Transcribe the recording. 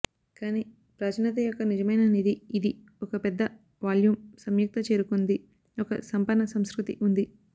కానీ ప్రాచీనత యొక్క నిజమైన నిధి ఇది ఒక పెద్ద వాల్యూమ్ సంయుక్త చేరుకుంది ఒక సంపన్న సంస్కృతి ఉంది